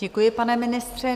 Děkuji, pane ministře.